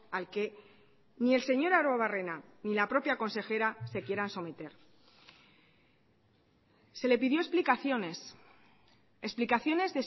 al que ni el señor arruebarrena ni la propia consejera se quieran someter se le pidió explicaciones explicaciones